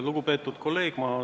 Lugupeetud kolleeg!